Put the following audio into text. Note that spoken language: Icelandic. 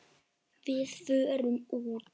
Við förum út.